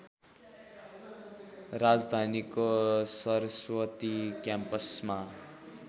राजधानीको सरस्वती क्याम्पसमा